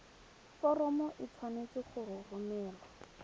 foromo e tshwanetse go romelwa